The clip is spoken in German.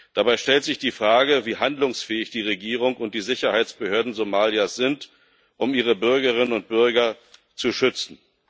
Dabei stellt sich die Frage, wie handlungsfähig die Regierung und die Sicherheitsbehörden Somalias sind, um ihre Bürgerinnen und Bürger zu schützen.